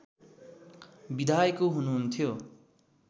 विधायक हुनुहुन्थ्यो